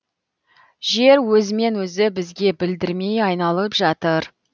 жер өзімен өзі бізге білдірмей айналып жатыр